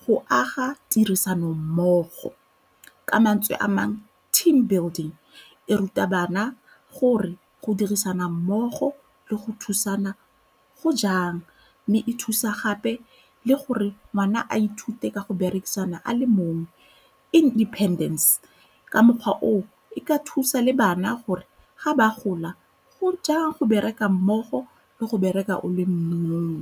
go aga tirisanommogo, ka mantswe a mang team building, e ruta bana gore go dirisana mmogo le go thusana go jang, mme e thusa gape le gore ngwana a ithuta teka go berekisana a le mongwe independence. Ka mokgwa oo e ka thusa le bana gore ga ba gola go jang go bereka mmogo le go bereka o le mong.